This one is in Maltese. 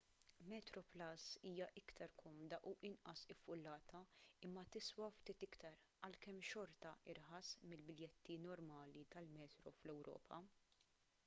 metroplus hija iktar komda u inqas iffullata imma tiswa ftit iktar għalkemm xorta irħas mill-biljetti normali tal-metro fl-ewropa